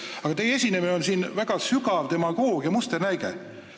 Aga teie esinemine siin on väga sügava demagoogia musternäide.